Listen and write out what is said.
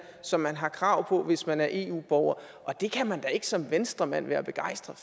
som man har krav på hvis man er eu borger og det kan man da ikke som venstremand være begejstret